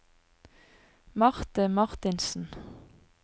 Marthe Martinsen